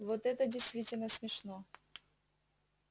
вот это действительно смешно